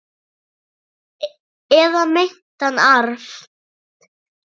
Eða meintan arf.